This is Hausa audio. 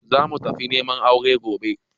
Za mu tafi neman aure gobe